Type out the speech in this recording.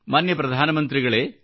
ಮಾನ್ಯ ಪ್ರಧಾನ ಮಂತ್ರಿಗಳೇ